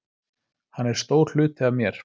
Hann er stór hluti af mér.